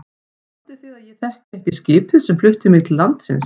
Haldið þið að ég þekki ekki skipið sem flutti mig til landsins.